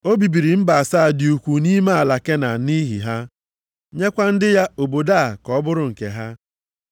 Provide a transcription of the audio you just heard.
O bibiri mba asaa dị ukwuu nʼime ala Kenan nʼihi ha, nyekwa ndị ya obodo a ka ọ bụrụ nke ha.